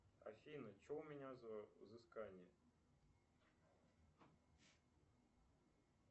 афина что у меня за взыскания